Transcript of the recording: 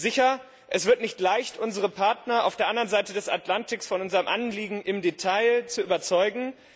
Sicher wird es nicht leicht, unsere Partner auf der anderen Seite des Atlantiks von unserem Anliegen im Detail zu überzeugen.